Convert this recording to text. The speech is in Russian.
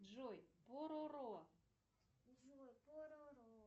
джой пороро